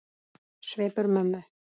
Svipur mömmu